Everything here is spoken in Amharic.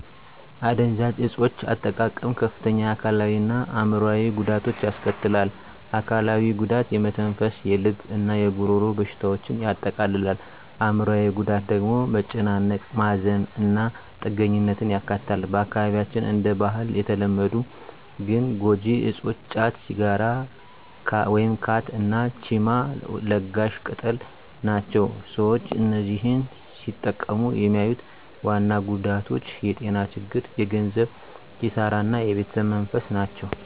የአደንዛዥ እፆች አጠቃቀም ከፍተኛ የአካላዊ እና አዕምሮአዊ ጉዳቶችን ያስከትላል። አካላዊው ጉዳት የመተንፈስ፣ የልብ እና የጉሮሮ በሽታዎችን ያጠቃልላል። አዕምሮአዊው ጉዳት ደግሞ መጨናነቅ፣ ማዘን እና ጥገኛነትን ያካትታል። በአካባቢያችን እንደ ባህል የተለመዱ ግን ጎጂ እፆች ጫት፣ ሲጋራ (ካት) እና ቺማ (ለጋሽ ቅጠል) ናቸው። ሰዎች እነዚህን ሲጠቀሙ የሚያዩት ዋና ጉዳቶች የጤና ችግሮች፣ የገንዘብ ኪሳራ እና የቤተሰብ መፈረስ ናቸው።